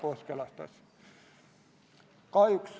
Otsus on vastu võetud.